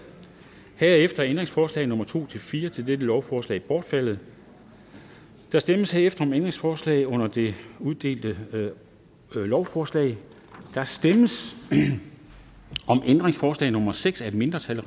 herefter er ændringsforslag nummer to fire til dette lovforslag bortfaldet der stemmes herefter om ændringsforslag under det uddelte lovforslag der stemmes om ændringsforslag nummer seks af et mindretal